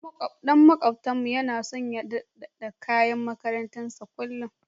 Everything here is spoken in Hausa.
Ɗan maƙotanmu yana so ya dauɗatar da kayan makarantar sa kullum.